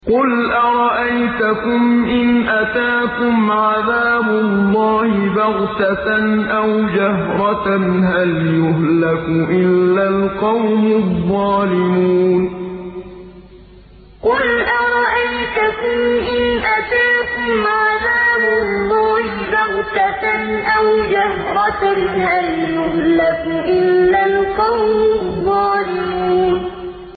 قُلْ أَرَأَيْتَكُمْ إِنْ أَتَاكُمْ عَذَابُ اللَّهِ بَغْتَةً أَوْ جَهْرَةً هَلْ يُهْلَكُ إِلَّا الْقَوْمُ الظَّالِمُونَ قُلْ أَرَأَيْتَكُمْ إِنْ أَتَاكُمْ عَذَابُ اللَّهِ بَغْتَةً أَوْ جَهْرَةً هَلْ يُهْلَكُ إِلَّا الْقَوْمُ الظَّالِمُونَ